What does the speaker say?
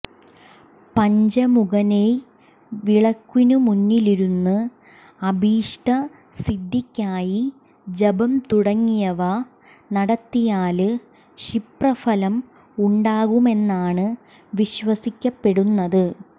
പഞ്ചമുഖനെയ് വിളക്കിനുമുമ്പിലിരുന്ന് അഭീഷ്ടസിദ്ധിക്കായി ജപം തുടങ്ങിയവ നടത്തിയാല് ക്ഷിപ്രഫലം ഉണ്ടാകുമെന്നാണ് വിശ്വസിക്കപ്പെടുന്നത്